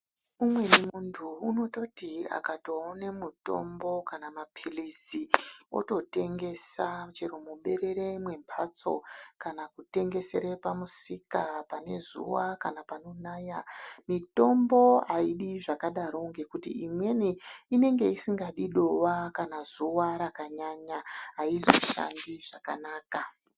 Umweni muntu unototi akatoone mutombo kana mapilizi ototengesa chero muberere mwemhatso kana kutengesere pamusika pane zuwa ,kana pano naya, mitombo haidi zvakadaro ngekuti imweni inenge isingadi dowa kana zuwa rakanyanya haizoshandi zvakanaka.